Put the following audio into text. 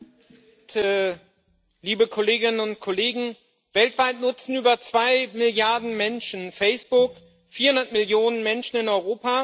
Herr Präsident, liebe Kolleginnen und Kollegen! Weltweit nutzen über zwei Milliarden Menschen Facebook, 400 Millionen Menschen in Europa.